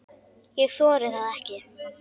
Ég þori það ekki.